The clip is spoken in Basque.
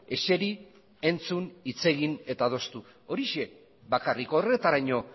ezeri entzun hitz egin eta adostu horixe bakarrik horretaraino